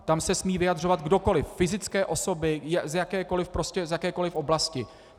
Tam se smí vyjadřovat kdokoliv, fyzické osoby, z jakékoli oblasti.